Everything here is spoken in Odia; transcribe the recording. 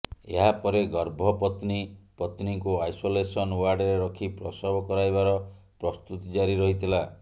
ଏହା ପରେ ଗର୍ଭପତ୍ନୀ ପତ୍ନୀଙ୍କୁ ଆଇସୋଲେସନ ଓ୍ବାର୍ଡରେ ରଖି ପ୍ରସବ କରାଇବାର ପ୍ରସ୍ତୁତି ଜାରି ରହିଥିଲା